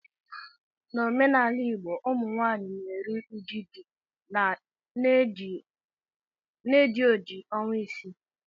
N' omenala Igbo, Ụmụnwaanyị na-eru uju di na-eji oji ọnwa isii